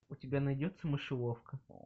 у тебя найдется мышеловка